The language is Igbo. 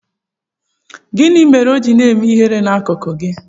Gịnị mere o ji na-eme ihere n'akuku gị?